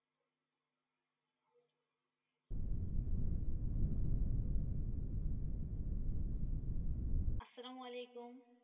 আসসালামুয়ালাইকুম।